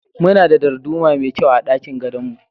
Muna da darduma mai kyau a ɗakin gadon mu.